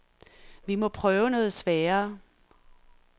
Vi må prøve noget sværere.